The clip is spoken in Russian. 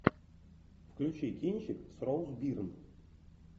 включи кинчик с роуз бирн